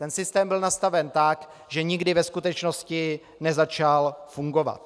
Ten systém byl nastaven tak, že nikdy ve skutečnosti nezačal fungovat.